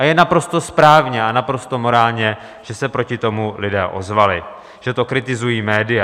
A je naprosto správně a naprosto morální, že se proti tomu lidé ozvali, že to kritizují média.